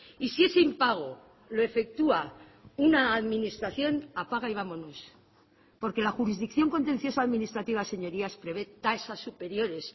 y si ese impago lo efectúa una administración apaga y vámonos porque la jurisdicción contencioso administrativa señorías prevé tasas superiores